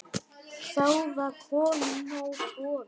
Þá var honum nóg boðið.